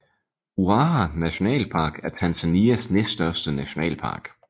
Ruaha nationalpark er Tanzanias næststørste nationalpark